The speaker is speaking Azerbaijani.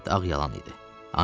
Əlbəttə, ağ yalan idi.